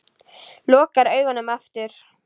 Lokar augunum aftur.